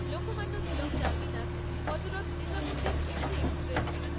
Lokmanya Tilak terminus Hazrat Nizamuddin AC express